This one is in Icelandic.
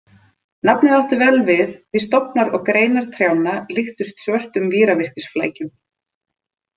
Nafnið átti vel við því stofnar og greinar trjánna líktust svörtum víravirkisflækjum.